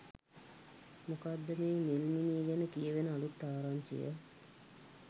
මොකක්ද මේ නිල්මිණි ගැන කියැවෙන අලුත් ආරංචිය?